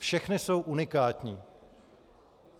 Všechny jsou unikátní.